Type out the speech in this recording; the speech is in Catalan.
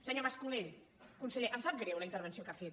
senyor mas colell conseller em sap greu la intervenció que ha fet